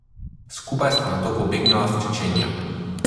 Skupaj sta nato pobegnila v Čečenijo.